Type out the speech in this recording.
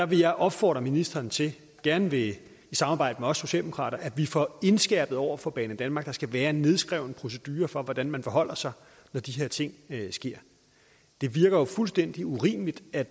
vil opfordre ministeren til gerne i samarbejde med os socialdemokrater at vi får indskærpet over for banedanmark at der skal være en nedskrevet procedure for hvordan man forholder sig når de her ting sker det virker jo fuldstændig urimeligt